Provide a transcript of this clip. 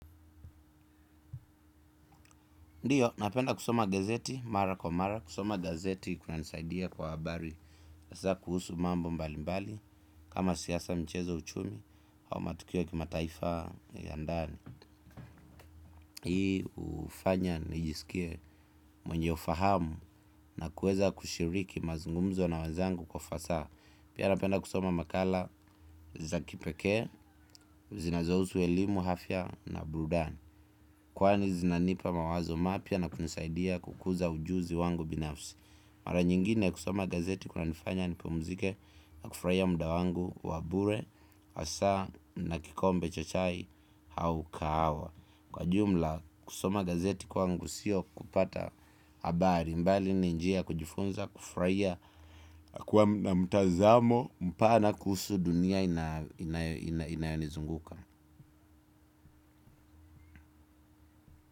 Ndiyo, napenda kusoma gazeti, mara kwa mara, kusoma gazeti kunanisaidia kwa habari hasa kuhusu mambo mbalimbali, kama siasa mchezo uchumi au matukio ya kimataifa ya ndani hii hufanya nijisikie mwenye ufahamu na kuweza kushiriki mazungumzo na wenzangu kwa ufasaha pia napenda kusoma makala za kipekee, zinazohusu elimu afia na burudani kwani zinanipa mawazo mapya na kunisaidia kukuza ujuzi wangu binafsi mara nyingine kusoma gazeti kunanifanya nipumzike na kufurahia muda wangu wabure hasa na kikombe cha chai au kahawa kwa jumla kusoma gazeti kwangu sio kupata habari bali ni njia ya kujifunza kufurahia na mtazamo mpana kuhusu dunia inayonizunguka.